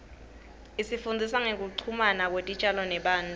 isifundzisa ngekuchumana kwetitjalo nebantfu